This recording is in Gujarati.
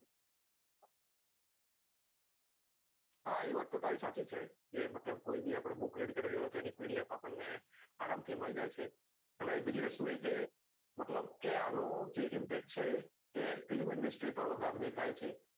હા એ વાત તો તારી સાચી છે કે મતલબ કોઈ ભી book read કરવી હોય તો એની pdf આપણને આરામ થી મળી જાય છે પણ બીજી વસ્તુ એ કે મતલબ કે જે આવો impact છે તે film industry મા વધાર દેખાય છે